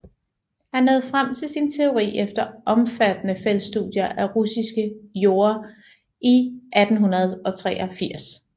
Han nåede frem til sin teori efter omfattende feltstudier af russiske jorder i 1883